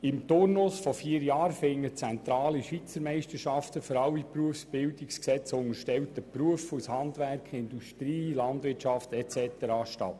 Im Turnus von vier Jahren finden zentrale Schweizermeisterschaften von allen dem Berufsbildungsgesetz unterstellten Berufen aus Handwerk, Industrie, Landwirtschaft und so weiter statt.